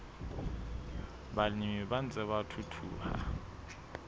balemi ba ntseng ba thuthuha